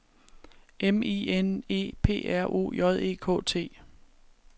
M I N E P R O J E K T